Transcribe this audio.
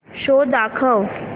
show दाखव